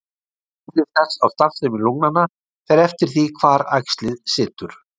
Áhrif þess á starfsemi lungnanna fer eftir því hvar æxlið situr.